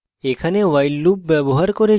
এখানে while loop ব্যবহার করেছি